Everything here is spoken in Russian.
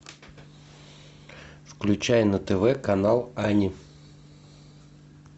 включай на тв канал ани